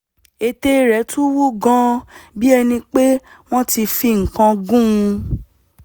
ètè rẹ̀ tún wú gan-an bí ẹni pé wọ́n ti fi nǹkan kan gún un